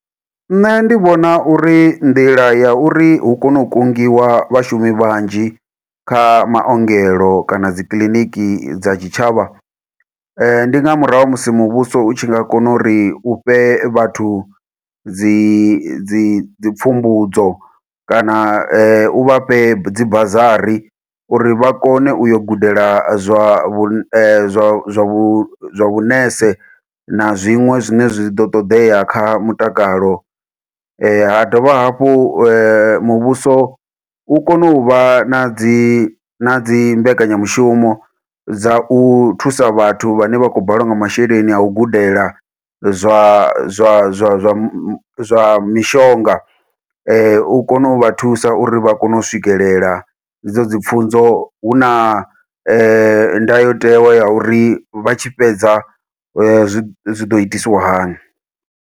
Nṋe ndi vhona uri, nḓila ya uri hu kone u kungiwa vhashumi vhanzhi kha maongelo kana dzi kiliniki dza tshitshavha. Ndi nga murahu ha musi muvhuso u tshi nga kona uri, u fhe vhathu dzi dzi pfumbudzo kana, u vha fhe dzi busary, uri vha kone u yo gudela zwa vhu zwa vhu vhunese, na zwiṅwe zwine zwi ḓo ṱoḓea kha mutakalo. Ha dovha hafhu muvhuso u kone u vha na dzi, na dzi mbekanyamushumo dza u thusa vhathu vhane vha khou balelwa nga masheleni a u gudela, zwa zwa zwa zwa zwa mishonga. U kone u vha thusa uri vha kone u swikelela he dzo dzi pfunzo, hu na ndayotewa ya uri, vha tshi fhedza zwi ḓo itiswa hani.